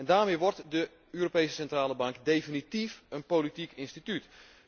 Daarmee wordt de Europese Centrale Bank definitief een politiek instituut.